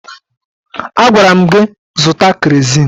Agwara m gị zụta kerozin!